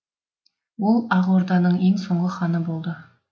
ол ақ орданың ең соңғы ханы болды